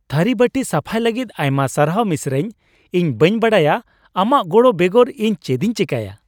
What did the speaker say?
ᱛᱷᱟᱹᱨᱤ ᱵᱟᱹᱴᱤ ᱥᱟᱯᱷᱟᱭ ᱞᱟᱹᱜᱤᱫ ᱟᱭᱢᱟ ᱥᱟᱨᱦᱟᱣ ᱢᱤᱥᱨᱟᱧ ᱾ ᱤᱧ ᱵᱟᱹᱧ ᱵᱟᱰᱟᱭᱟ ᱟᱢᱟᱜ ᱜᱚᱲᱚ ᱵᱮᱜᱚᱨ ᱤᱧ ᱪᱮᱫᱤᱧ ᱪᱮᱠᱟᱭᱟ ᱾